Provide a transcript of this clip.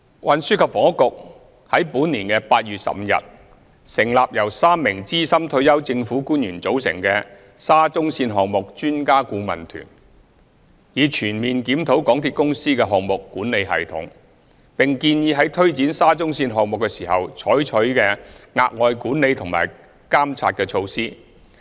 運輸及房屋局在本年8月15日成立由3名資深退休政府官員組成的沙中線項目專家顧問團，以全面檢討港鐵公司的項目管理系統，並建議在推展沙中線項目時應採取的額外管理和監察措施。